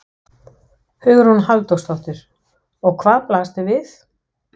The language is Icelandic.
Hugrún Halldórsdóttir: Og hvað blasti við?